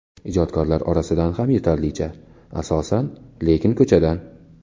Ijodkorlar orasidan ham yetarlicha, asosan lekin ko‘chadan.